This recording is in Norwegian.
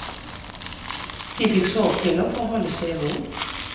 De fikk sovepiller for å holde seg i ro.